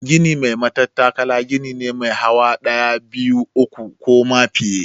Gini mai matattakala gini ne mai hawa ɗaya, biyu, uku ko ma fiye.